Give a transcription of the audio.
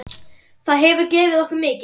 Það hefur gefið okkur mikið.